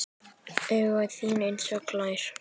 Og augu þín einsog gler.